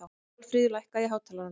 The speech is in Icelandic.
Marfríður, lækkaðu í hátalaranum.